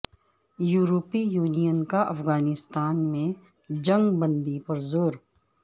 یورپی یونین کا افغانستان میں جنگ بندی پر زور